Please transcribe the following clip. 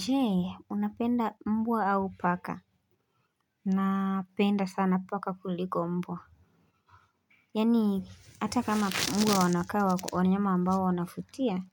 Je unapenda mbwa au paka Napenda sana paka kuliko mbwa Yaani hata kama mbwa wanakaa wanyama ambao wanafutia